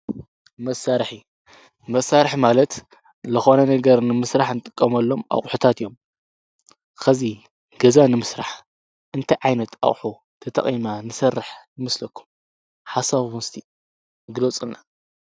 መሳርሒ፡- መሳርሒ ማለት ልኾነ ነገር ንምስራሕ እንጥቀመሎም ኣቝሑታት እዮም፡፡ ኸዚ ገዛ ንምስራሕ እንታይ ዓይነት ኣቕሑ ተጠቒምና ንሰርሕ ይምስለኩም ሓሳብኩም እስቲ ግሎፁለና?